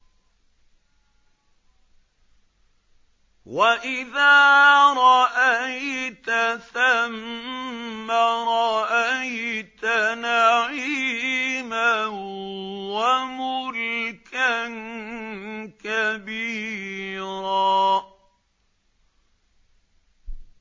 وَإِذَا رَأَيْتَ ثَمَّ رَأَيْتَ نَعِيمًا وَمُلْكًا كَبِيرًا